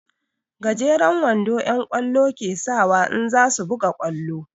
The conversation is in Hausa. Gejeren wando'yan ƙwallo ke sawa in za su buga ƙwallo.